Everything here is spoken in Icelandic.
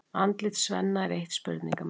Andlit Svenna er eitt spurningamerki.